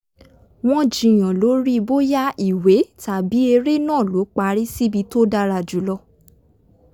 wọ́n jiyàn lórí bóyá ìwé tàbí eré náà ló parí síbi tó dára jù lọ